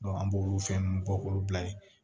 an b'olu fɛn ninnu bɔ k'olu bila ye